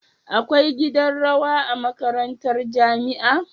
Akwai gidan rawa a makarantar jamia